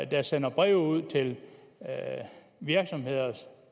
der sender breve ud til virksomheder